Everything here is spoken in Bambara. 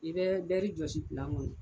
I bɛ bɛri jɔsi pilan kɔnɔ.